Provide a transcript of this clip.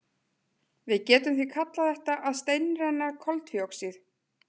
Við getum því kallað þetta að steinrenna koltvíoxíð.